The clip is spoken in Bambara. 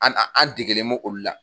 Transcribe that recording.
An an an degelen mo olu la